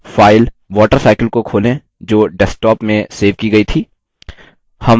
file watercycle को खोलें जो desktop में सेव की गई थी